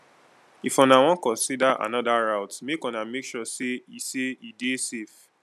if una wan consider anoda route make una make sure sey e sey e dey safe